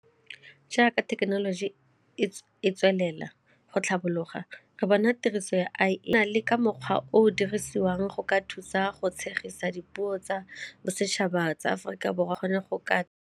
Jaaka thekenoloji e tswelela go tlhapologa re bona tiriso ya le ka mokgwa o o dirisiwang go ka thusa go tshegisang dipuo tsa bosetšhaba tsa Aforika Borwa go ne go ka.